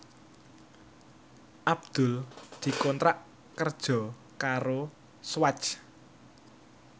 Abdul dikontrak kerja karo Swatch